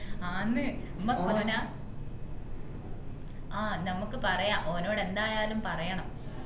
ആന്നു മ്മക്ക് ഓന ആഹ് ഞമ്മക്ക് പറയാ ഓനോട്‌ എന്തായാലും പറയണം